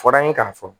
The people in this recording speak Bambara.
Fɔra an ye k'a fɔ